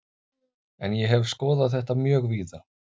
En ég hef skoðað þetta mjög víða.